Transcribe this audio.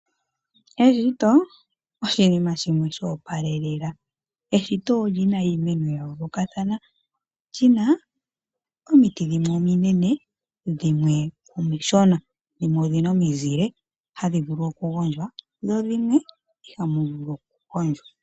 Eshito oshinima shimwe shoopalelela, eshito olyi na iimeno ya yoolokathana lyi na omiti dhimwe ominene dhimwe omishona dhimwe odhi na omizile hadhi vulu okugondjwa dho dhimwe iha mu vulu okugondjwa.